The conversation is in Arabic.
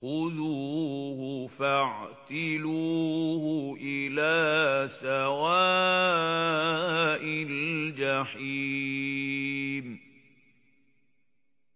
خُذُوهُ فَاعْتِلُوهُ إِلَىٰ سَوَاءِ الْجَحِيمِ